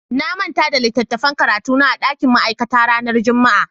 Na manta da littattafan karatu na a dakin ma'aikata ranar Juma'a.